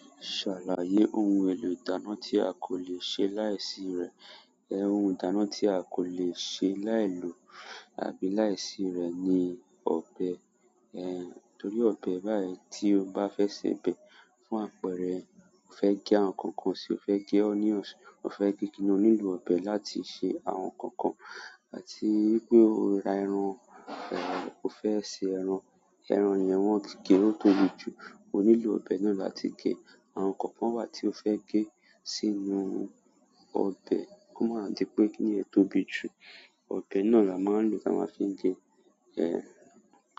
Ṣàlàyé ohun èlò ìdáná tí a kò lè ṣe láìsí rẹ̀. Ohun ìdáná tí a kò lè ṣe láì lò àbí láìsí rẹ̀ ni ọbẹ̀. Torí ọbẹ̀ báyìí tí o bá fẹ́ sèbẹ̀ fún àpẹrẹ, o fẹ́ gé àwọn nǹkan kan ṣe, o fẹ́ gé onions, o fẹ́ gé kíni, o nílò ọbẹ̀ láti se àwọn nǹkan kan. Àti wípé o ra ẹran, o fẹ́ se ẹran, ẹran yẹn wọ́n ti gé ó tóbi jù, o nílò ọ̀bẹ náà láti gé. Àwọn nǹkan kan wà tí o fẹ́ gé sínú ọ̀bẹ̀, kó máa di pé kì ní yẹn tóbi jù, ọ̀bẹ náà la máa ń lò tá a máa fi gée.